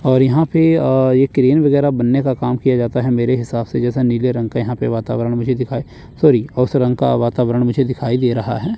और यहां पे अ ये क्रीम वगैरह बनने का काम किया जाता है मेरे हिसाब से जैसा नीले रंग का यहां पे वातावरण मुझे दिखाई सॉरी उस रंग का वातावरण मुझे दिखाई दे रहा है।